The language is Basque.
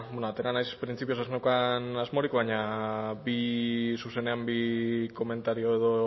atera naiz printzipioz ez neukan asmorik baina zuzenean bi komentario edo